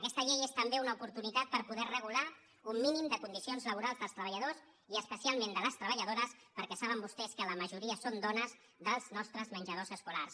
aquesta llei és també una oportunitat per poder regular un mínim de condicions laborals dels treballadors i especialment de les treballadores perquè saben vostès que la majoria són dones dels nostres menjadors escolars